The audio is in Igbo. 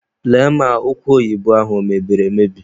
Lee ma ụkwa oyibo ahụ o mebiri emebi!